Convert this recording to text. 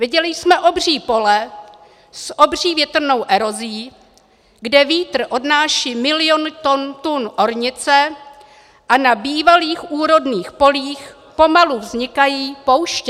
Viděli jsme obří pole s obří větrnou erozí, kde vítr odnáší miliony tun ornice a na bývalých úrodných polích pomalu vznikají pouště.